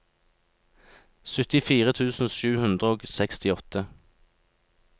syttifire tusen sju hundre og sekstiåtte